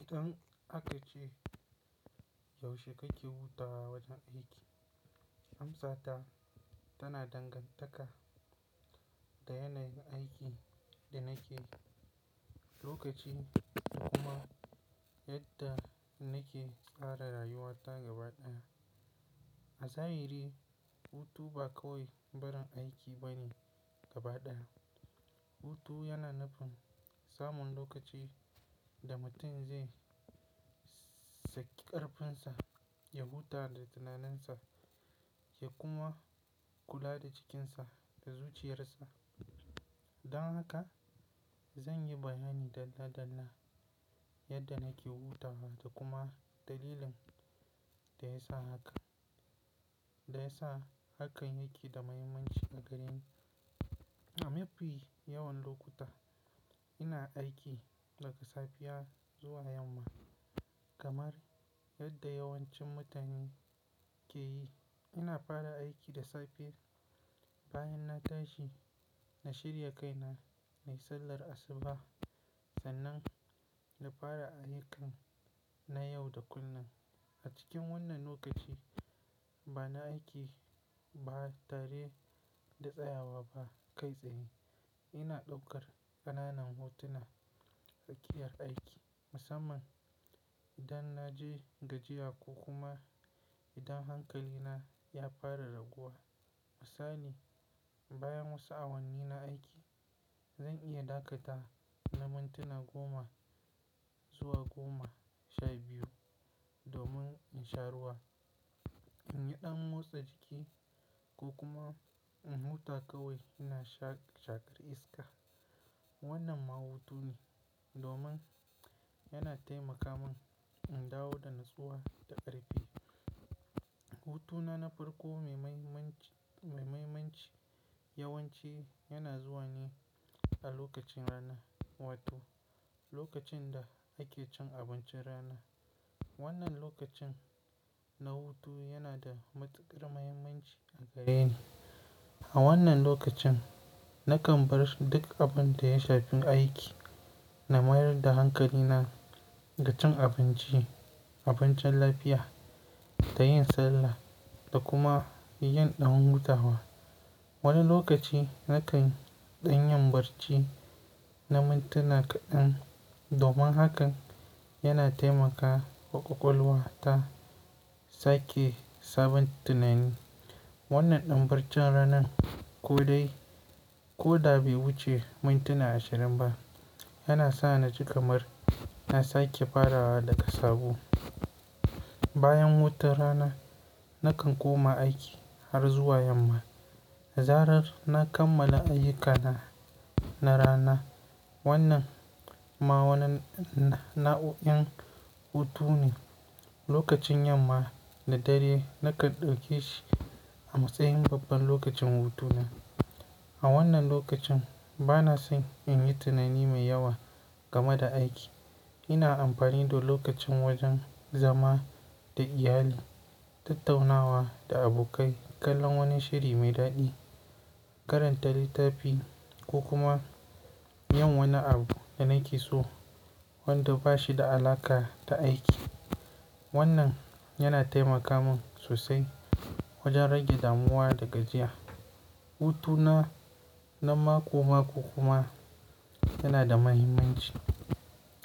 Idan aka ce yaushe kake hutawa wajen aiki, amsata tana dangantaka da yanayin aikin da nake, lokaci da kuma yadda nake tsara rayuwata gaba ɗaya. A zahiri, hutu ba kawai barin aiki bane gaba ɗaya. Hutu yana nufin samun lokaci da mutum zai saki ƙarfinsa, ya huta da tunaninsa, ya kuma kula da jikinsa da zuciyarsa. Don haka, zan yi bayani dalla dalla yadda nake hutawa da kuma dalilin da yasa haka, da yasa hakan yake da muhimmanci a gareni. A mafi yawan lokuta ina aiki daga safiya zuwa yamma, kamar yadda yawancin mutane ke yi. Ina fara aiki da safe bayan na tashi, na shirya kaina, na yi sallar asuba sannan na fara ayyukana na yau da kullun. A cikin wannan lokaci bana aiki ba tare da tsayawa ba kai tsaye. Ina ɗaukar ƙananan hutuna a tsakiyar aiki. Musamman idan na je gajiya ko kuma idan hankalina ya fara raguwa. Misali, bayan na sa'a wanni na aiki, zan iya ɗakata na mintuna goma zuwa goma sha biyu domin in sha ruwa, in yi ɗan motsa jiki ko kuma in huta kawai ina sha-shakar iska. Wannan mahutu ne domin yana taimaka min in dawo da natsuwa da ƙarfi. Hutuna na farko mai-mai-manci, mai muhimmanci yawanci yana zuwa ne a lokacin rana. Wato lokacin da ake cin abincin rana. Wannan lokacin na hutu yana da matuƙar muhimmanci a gareni. A wannan lokacin nakan bar duk abin da ya shafi aiki, na mayar da hankalina ga cin abinci, abincin lafiya da yin sallah da kuma yin ɗan hutawa. Wani lokaci nakan ɗan yan barci na mintuna kaɗan domin hakan yana taimaka wa ƙwaƙwalwa ta sake sabon tunani. Wannan ɗan bircin ranan ko dai, ko da bai wuce mintuna ashirin ba yana sa ni ji kamar na sake farawa daga sabo. Bayan hutun rana nakan koma aiki har zuwa yamma. Zarar na kammala ayyukana na rana. Wannan ma wani na'u'in hutu ne. Lokacin yamma da dare nakan dauke shi a matsayin babban lokacin hutuna. A wannan lokacin bana son in yi tunani mai yawa game da aiki. Ina amfani da lokacin wajen zama da iyali, tattaunawa da abokai, kallon wani shiri mai daɗi, karanta littafi ko kuma yin wani abu da nake so wanda ba shi da alaƙa da aiki. Wannan yana taimaka min sosai wajen rage damuwa da gajiya. Hutuna na mako mako kuma yana da muhimmanci.